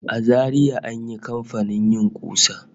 A Zaria da an yi kamfanin yin ƙusa